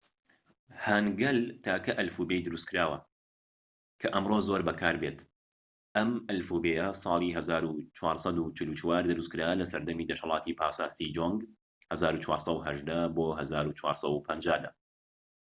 هانگەل تاکە ئەلفوبێی دروستکراوە کە ئەمڕۆ زۆر بەکاربێت. ئەم ئەلفوبێیە ساڵی ١٤٤٤ دروستکرا لەسەردەمی دەسەڵاتی پاشا سیجۆنگ ١٤١٨-١٤٥٠ دا